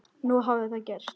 Nú hafði það gerst.